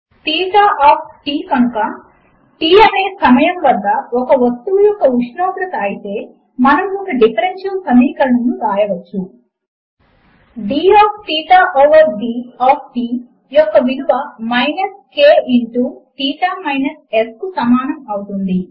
theta of t కనుక t అనే సమయము వద్ద ఒక వస్తువు యొక్క ఉష్ణోగ్రత అయితే మనము ఒక డిఫరెన్షియల్ సమీకరణమును వ్రాయవచ్చు d of theta over d of t యొక్క విలువ minus k into theta minus S కు సమానము అవుతుంది